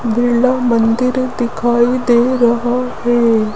बिरला मंदिर दिखाई दे रहा है।